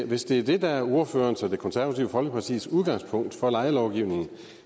hvis det er det der er ordførerens og det konservative folkepartis udgangspunkt for lejelovgivning